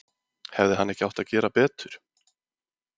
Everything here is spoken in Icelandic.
Hefði hann ekki átt að gera betur?